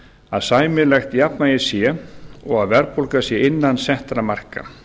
að sæmilegt jafnvægi sé og að verðbólga sé innan settra marka